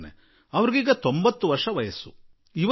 ಈಗ ಅವರಿಗೆ 90 ವರ್ಷ ವಯಸ್ಸಾಗಿಬಿಟ್ಟಿದೆ